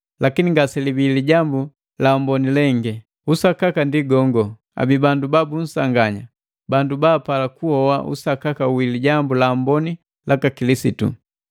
Lakini ngaselibii Lijambu la Amboni lengi. Usakaka ndi gongo abii bandu babunsanganya, bandu baapala kuhoa usakaka wi Lijambu la Amboni laka Kilisitu.